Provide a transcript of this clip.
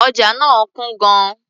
Ọjà náà kún gan-an.